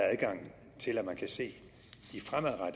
adgang til at man kan se de fremadrettede